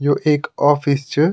यो एक ऑफिस च।